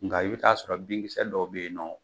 Nka i bɛ t'a sɔrɔ binkisɛ dɔw bɛ yen nɔ